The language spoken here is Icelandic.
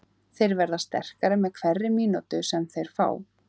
Þeir verða sterkari með hverri mínútu sem þeir fá.